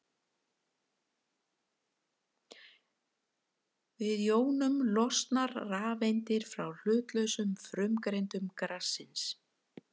Við jónun losna rafeindir frá hlutlausum frumeindum gassins.